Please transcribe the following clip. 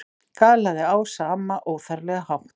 galaði Ása amma, óþarflega hátt.